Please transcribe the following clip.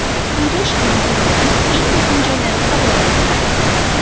Quyida ushbu intervyuning eng muhim joylari havola etiladi .